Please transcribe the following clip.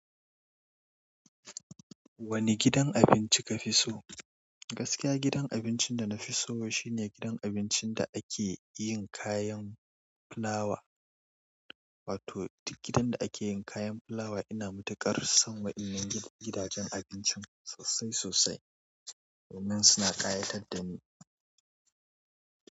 Wani gidan abinci ka fi so? Gaskiya gidan abincin da na fi so shine gidan abincin da ake yin kayan fulawa. Wato gidan da ake yin kayan fulawa. Ina matuƙar son wa'innan gidajen abincin sosai sosai domin suna ƙayatar da ni.